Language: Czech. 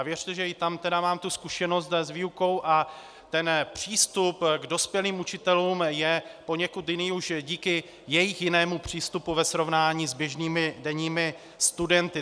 A věřte, že i tam mám tu zkušenost s výukou, že ten přístup k dospělým učitelům je poněkud jiný už díky jejich jinému přístupu ve srovnání s běžnými denními studenty.